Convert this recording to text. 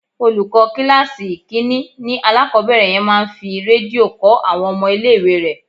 Olùkọ́ kíláàsì ìkínní ni alákòbẹ̀rẹ̀ yẹn máa ń fi Rédíò kọ́ àwọn ọmọ ilé ìwé rẹ̀.